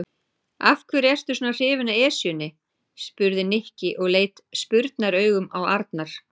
Af hverju ertu svona hrifinn af Esjunni? spurði Nikki og leit spurnaraugum á Arnar.